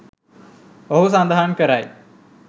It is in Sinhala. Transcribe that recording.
ඔහු සඳහන් කරයි